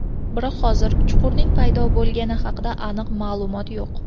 Biroq hozircha chuqurning paydo bo‘lgani haqida aniq ma’lumot yo‘q.